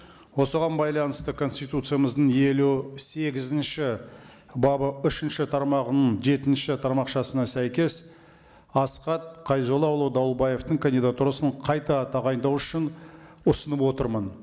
осыған байланысты конституциямыздың елу сегізінші бабы үшінші тармағының жетінші тармақшасына сәйкес асхат қайзоллаұлы дауылбаевтың кандидатурасын қайта тағайындау үшін ұсынып отырмын